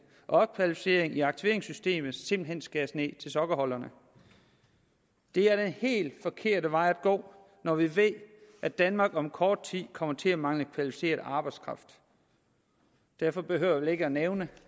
og opkvalificering i aktiveringssystemet simpelt hen skæres ned til sokkeholderne det er den helt forkerte vej at gå når vi ved at danmark om kort tid kommer til at mangle kvalificeret arbejdskraft derfor behøver jeg vel ikke at nævne